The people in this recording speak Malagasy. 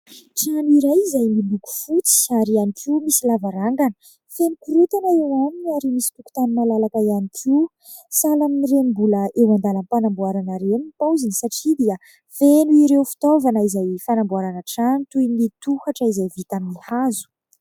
Trano iray izay miloko fotsy ary ihany koa misy lavarangana, feno korontana eo aminy ary misy tokontany malalaka ihany koa, sahala amin'ireny mbola eo andalam-panamboarana ireny ny paoziny satria dia feno ireo fitaovana izay fanamboarana trano toy tohatra izay vita amin'ny hazo.